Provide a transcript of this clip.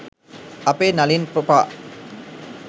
අපේ නලින් ප්රොපා